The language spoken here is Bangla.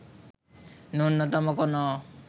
ন্যূনতম কোনো